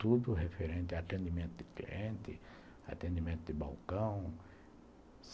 Tudo referente a atendimento de cliente, atendimento de balcão.